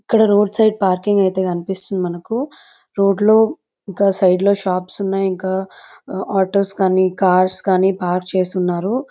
ఇక్కడ road side parking అయితే కనిపిస్తుంది మనుకు రోడ్డు లో గా షాప్స్ ఉన్నాయ్ ఇంకా ఆటోస్ కానీ కార్స్ కానీ పార్క్ చేసి ఉన్నారు.